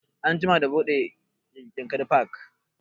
An jima da buɗe yankari park